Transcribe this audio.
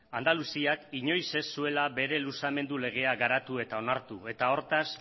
andaluziak inoiz ez zuela bere luzamendu legea garatu eta onartu eta hortaz